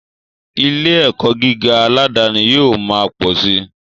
Ilé ẹ̀kọ́ gíga aládani yóò ma pọ̀ si